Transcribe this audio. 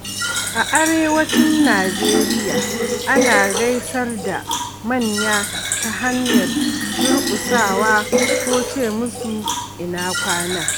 A Arewacin Najeriya, ana gaisar da manya ta hanyar durƙusawa ko ce musu "Ina Kwana".